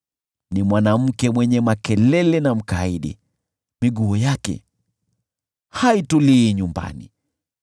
(Ni mwanamke mwenye makelele na mkaidi, miguu yake haitulii nyumbani;